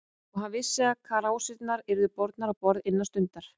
Og hann vissi, að krásirnar yrðu bornar á borð innan stundar.